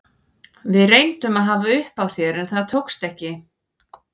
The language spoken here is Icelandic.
Við reyndum að hafa upp á þér en það tókst ekki.